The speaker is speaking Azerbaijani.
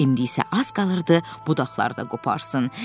İndi isə az qalırdı budaqları da qoparsın.